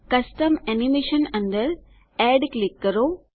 custom animation અંદર add click કરો